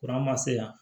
Kuran ma se yan